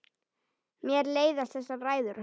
Mér leiðast þessar ræður hans.